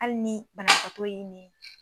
Hali ni banabagatɔ ye nin